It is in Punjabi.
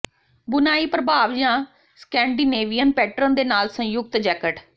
ਬੁਣਾਈ ਪ੍ਰਭਾਵ ਜਾਂ ਸਕੈਂਡੀਨੇਵੀਅਨ ਪੈਟਰਨ ਦੇ ਨਾਲ ਸੰਯੁਕਤ ਜੈਕਟ